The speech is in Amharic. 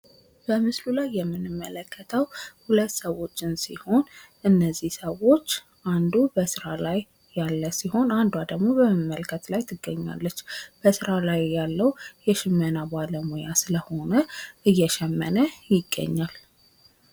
በምስሉ ላይ የምንመለከተው ሁለት ሰዎች ሲሆን እነዚህ ሰዎች አንዱ በስራ ላይ ያለ ሲሆን አንዱ አ ደግሞ በመመልከት ላይ ትገኛለች። በስራ ላይ ሽመና ባለሙያ ስለሆነ እየሸመነ ይገኛል።